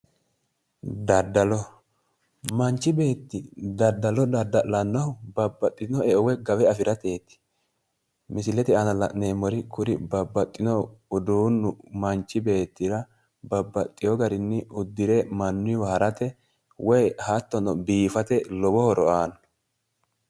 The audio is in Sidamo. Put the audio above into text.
Daddalo manchi beetti daddalo dadda'lannohu babbaxxino woy gawe afirateeti misilete aana la'neemmori kuri babbaxxinohu uduunnu manchi beettira babbaxxeyo garinni uddire mannuyiiwa harate woy biifate lowo horo aanno.